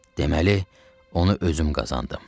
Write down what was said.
Deməli, onu özüm qazandım.